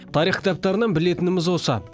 тарих кітаптарынан білетініміз осы